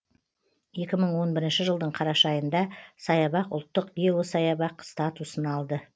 екі мың он бірінші жылдың қараша айында саябақ ұлттық геосаябақ статусын алды